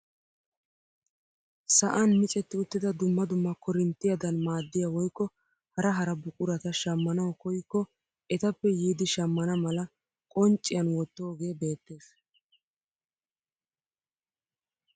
Sa'an micetti uttida dumma dumma korinttiyaadan maaddiyaa woykko hara hara buqurata shammanwu koyikko etappe yiidi shammana mala qoncciyaan wottoogee beettees.